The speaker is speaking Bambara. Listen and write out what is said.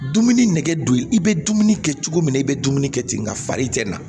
Dumuni nɛgɛ don i bɛ dumuni kɛ cogo min na i bɛ dumuni kɛ ten nka fari tɛ na